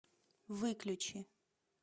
выключи